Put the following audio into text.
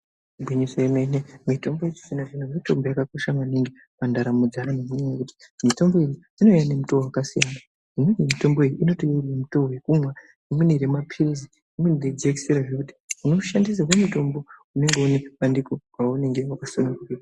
Igwinyiso yemene mitombo yechizvino zvino mitombo yakakosha maningi mundaramo dzeantu, mitombo iyi inouya nemitoo yakasiyana imweni mitombo iyi inouya nemutoo wekumwa, imweni remapirizi imweni ngejekiseni zvekuti unoshandisirwe mitombo unenge une zvibandiko waunenge wakasununguka.